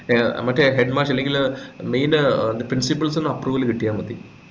ഏർ മറ്റേ head മാഷ് അല്ലെങ്കില് main ഏർ principals ന്റെ approval കിട്ടിയാമതി